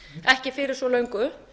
ekki fyrir svo löngu